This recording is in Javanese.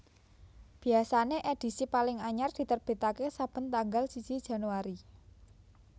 Biasané edhisi paling anyar diterbitaké saben tanggal siji Januari